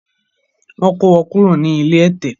Wọ́n kó wọn kúrò ní ilé ẹ̀tẹ̀